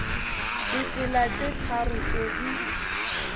ditsela tše tharo tše di